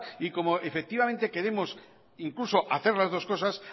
y como efectivamente queremos incluso hacer las dos cosas